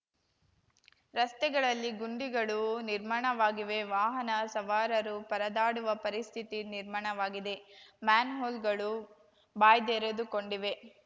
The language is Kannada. ರಸ್ತೆಗಳಲ್ಲಿ ಗುಂಡಿಗಳು ನಿರ್ಮಾಣವಾಗಿವೆ ವಾಹನ ಸವಾರರು ಪರದಾಡುವ ಪರಿಸ್ಥಿತಿ ನಿರ್ಮಾಣವಾಗಿದೆ ಮ್ಯಾನ್‌ಹೋಲ್‌ಗಳು ಬಾಯ್ದೆರೆದುಕೊಂಡಿವೆ